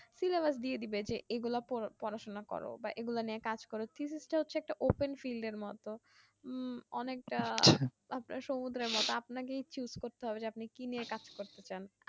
syllabus দিয়ে দিবে যে এগুলা তো পড়াশোনা কর বা এগুলা নিয়ে কাজ করো ফিজিস তা হচ্ছে একটা open field এর মতো উম অনেকটা আপনার সমুদ্রের মতো আপনাকেই choose করতে হবে যে আপনি কি নিয়ে কাজ করতে চান